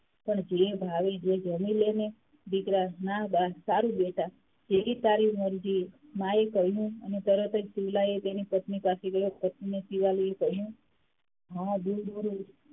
પણ જે ભાવે તે જમી લે ને દીકરા ના બા સારું બેટા જેવી તારી મરજી, માં એ કહ્યું, અને તરત જ શિવલા એ તેની પત્ની પાસે ગયો અને પત્ની શિવાલીએ કહ્યું